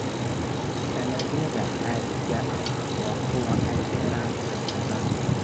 Dalagyada caadiga ah waa kuwa ay beeraan dad badan.